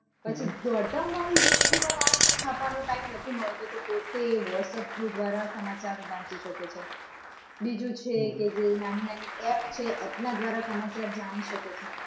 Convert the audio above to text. પછી દોડધામ વાળી જીંદગી માં માણસને છાપાનો time નથી મળતો તો પોતે whatsapp through દ્વારા સમાચાર વાંચી શકે છે. બીજું છે કે જે નાની નાની app છે app ના દ્વારા સમાચાર જાણી શકે છે.